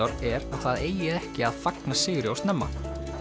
er að það eigi ekki að fagna sigri of snemma